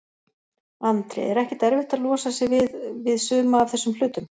Andri: Er ekkert erfitt að losa sig við, við suma af þessum hlutum?